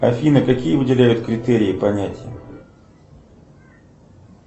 афина какие выделяют критерии понятия